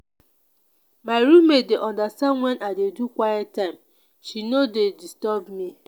my roommate dey understand wen i dey do quiet time she no dey disturb me.